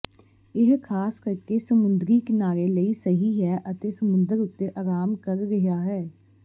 ਇਹ ਖਾਸ ਕਰਕੇ ਸਮੁੰਦਰੀ ਕਿਨਾਰੇ ਲਈ ਸਹੀ ਹੈ ਅਤੇ ਸਮੁੰਦਰ ਉੱਤੇ ਆਰਾਮ ਕਰ ਰਿਹਾ ਹੈ